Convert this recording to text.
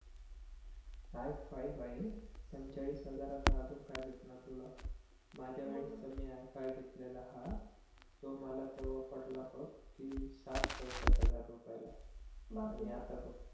I five आहे पंचेचाळीस हजारात अजून काय भेटणार तुला माझ्या वेळेस त आय फाईव्ह घेतलेला हा तो मला तेव्हा पडला बघ कि साठ चवसठ हजार रुपयाला आणि आता बघ